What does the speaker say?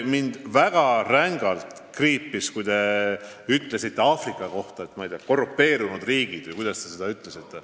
Mul väga rängalt kriipis hinge, kui te ütlesite Aafrika maade kohta, et need on korrumpeerunud riigid.